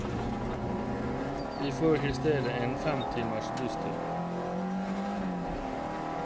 De får i stedet en fem timers busstur.